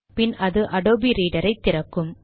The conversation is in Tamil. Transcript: பின் அது அடோபி ரீடர் ஐ திறக்கும்